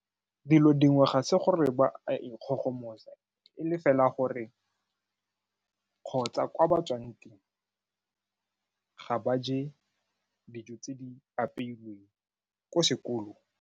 Dilo dingwe ga se gore ba a ikgogomosa, e le fela gore kgotsa kwa ba tswang teng, ga ba je dijo tse di apeilweng ko sekolong.